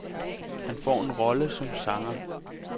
Han får en rolle som sanger.